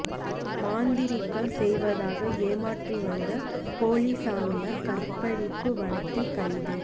மாந்திரீகம் செய்வதாக ஏமாற்றி வந்த போலி சாமியார் கற்பழிப்பு வழக்கில் கைது